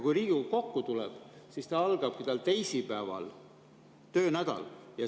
Kui Riigikogu kokku tuleb, siis tal algabki töönädal teisipäeval.